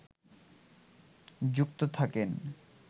যুক্ত থাকেন